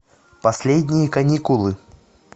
последние каникулы